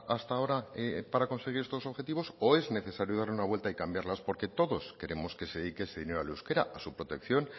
hasta ahora para conseguir estos objetivos o es necesario dar una vuelta y cambiarlas porque todos queremos que se dedique ese dinero al euskera a su protección